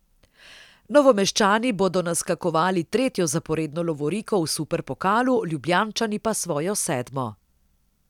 Novomeščani bodo naskakovali tretjo zaporedno lovoriko v superpokalu, Ljubljančani pa svojo sedmo.